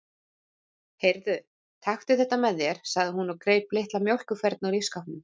Heyrðu, taktu þetta með þér, sagði hún og greip litla mjólkurfernu úr ísskápnum.